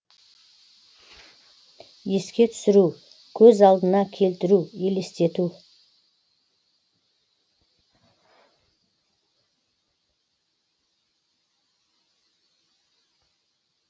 еске түсіру көз алдына келтіру елестету